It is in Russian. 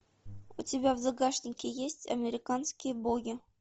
у тебя в загашнике есть американские боги